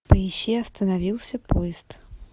поищи остановился поезд